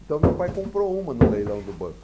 Então, meu pai comprou uma no leilão do banco.